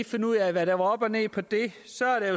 finde ud af hvad der var op og ned på det